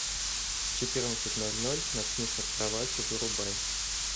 в четырнадцать ноль ноль ночник над кроватью вырубай